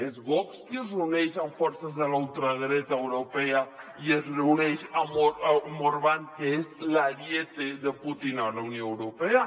és vox qui es reuneix amb forces de la ultradreta europea i es reuneix amb orbán que és l’ariet de putin a la unió europea